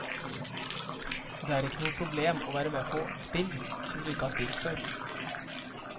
Det er ikke noe problem å være med på spill som du ikke har spilt før.